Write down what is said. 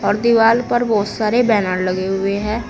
और दीवाल पर बहुत सारे बैनर लगे हुए हैं।